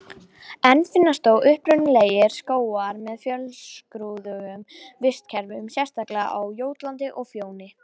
Enn finnast þó upprunalegir skógar með fjölskrúðugu vistkerfi, sérstaklega á Jótlandi og Fjóni.